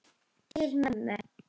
Til mömmu.